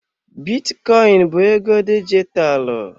Bitcoin bụ ego dijitalụ.